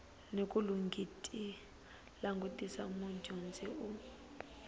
ni ku langutisa mudyondzi u